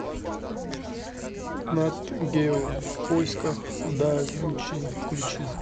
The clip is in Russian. нат гео в поисках да винчи включи